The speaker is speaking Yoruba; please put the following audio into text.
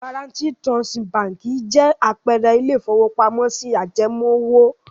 Guaranty Trust Báńkì jẹ́ àpẹẹrẹ ilé-ìfowópamọ́sí ajẹmoówò.